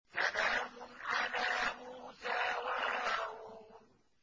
سَلَامٌ عَلَىٰ مُوسَىٰ وَهَارُونَ